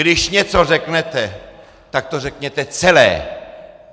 Když něco řeknete, tak to řekněte celé!